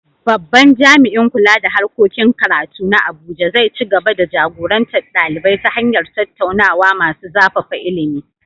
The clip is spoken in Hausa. Babban jami’in kula da harkokin karatu na Abuja zai ci gaba da jagorantar ɗalibai ta hanyar tattaunawa masu zafafa ilimi.